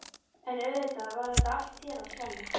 En auðvitað var þetta allt þér að kenna.